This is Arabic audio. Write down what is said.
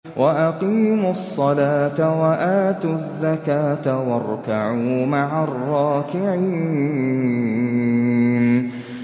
وَأَقِيمُوا الصَّلَاةَ وَآتُوا الزَّكَاةَ وَارْكَعُوا مَعَ الرَّاكِعِينَ